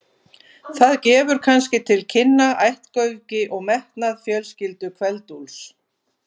Það gefur kannski til kynna ættgöfgi og metnað fjölskyldu Kveld-Úlfs.